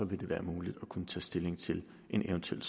vil det være muligt at kunne tage stilling til en eventuel